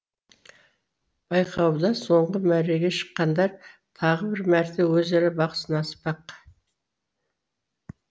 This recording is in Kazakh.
байқауда соңғы мәреге шыққандар тағы бір мәрте өзара бақ сынаспақ